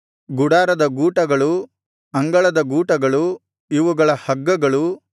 ಗುಡಾರದ ಗೂಟಗಳು ಅಂಗಳದ ಗೂಟಗಳು ಇವುಗಳ ಹಗ್ಗಗಳು